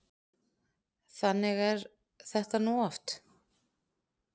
Þannig er þetta nú oft.